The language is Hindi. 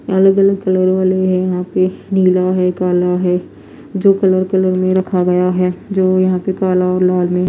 अलग अलग कलर वाले हैं यहां पे नीला है काला है जो कलर कलर में रखा गया है जो यहां पे काला और लाल में--